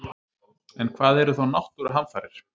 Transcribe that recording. En hvað eru þá náttúruhamfarir?